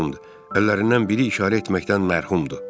Əllərindən biri işarə etməkdən məhrumdur.